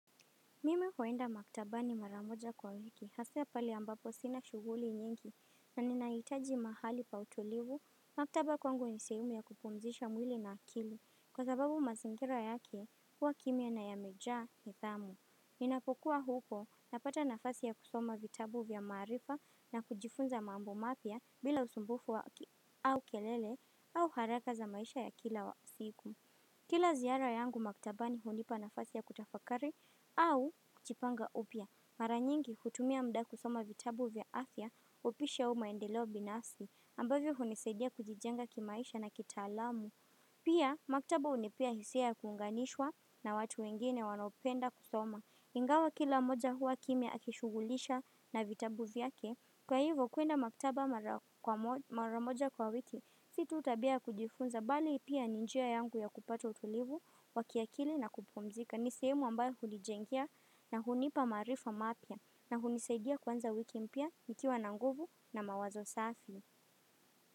Mime huenda maktabani mara moja kwa wiki hasa pale ambapo sina shughuli nyingi na ninahitaji mahali pa utulivu maktaba kwangu nisehemu ya kupumzisha mwili na akili kwa sababu mazingira yake huwa kimia na yamejaa nithamu. Ninapokuwa huko napata nafasi ya kusoma vitabu vya maarifa na kujifunza mambo mapya bila usumbufu au kelele au haraka za maisha ya kila wa siku. Kila ziara yangu maktabani hunipa nafasi ya kutafakari au kujipanga upya. Mara nyingi kutumia mda kusoma vitabu vya afya upishi au maendeleo binafsi ambavyo hunisaidia kujijenga kimaisha na kitaalamu. Pia maktaba hunipea hisia ya kuunganishwa na watu wengine wanopenda kusoma. Ingawa kila moja huwa kimia akishughulisha na vitabu vyake. Kwa hivo kuenda maktaba mara kwa mara moja kwa wiki si tu tabia ya kujifunza bali pia ni njia yangu ya kupata utulivu wakiakili na kupumzika. Ni sehemu ambayo hunijengea na hunipa maarifa mapya. Na hunisaidia kuanza wiki mpya nikiwa na nguvu na mawazo safi.